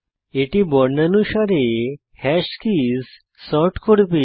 এটি বর্ণানুসারে hash keys sort করবে